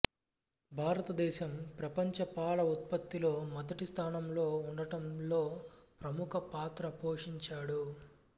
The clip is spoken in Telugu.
భారతదేశం ప్రపంచ పాల ఉత్పత్తిలో మొదటి స్థానం లో ఉండటంలో ప్రముఖ పాత్ర పోషించాడు